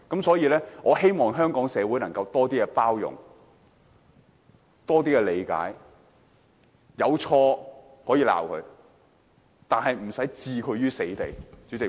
所以，我希望香港社會能多些包容和理解，如果他有錯，可以批評他，但不用置他於死地。